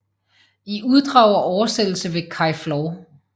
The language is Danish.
I uddrag og oversættelse ved Kai Flor